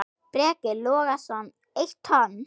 Breki Logason: Eitt tonn?